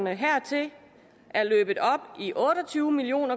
hertil er løbet op i otte og tyve million